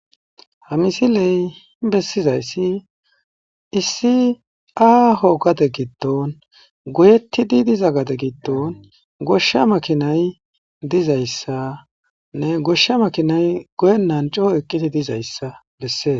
hamisiley bessizayssi issi aaho gade giddon goyettidi diza gade giddon goshsha makinay dizayssanne goshsha makinay goyennan coo eqqidi dizayssa bessee